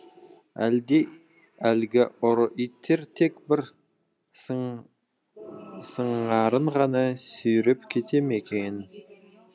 әлде әлгі ұры иттер тек бір сыңарын ғана сүйреп кете ме екен